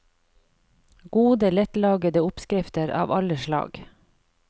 Gode lettlagede oppskrifter av alle slag.